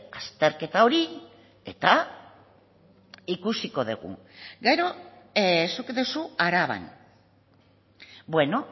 azterketa hori eta ikusiko dugu gero zuk duzu araban bueno